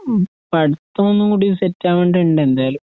ഉം പഠിത്തമൊന്നുംകൂടി സെറ്റാവിണ്ടിണ്ടെന്തായാലും